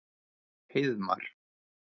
Heiðmar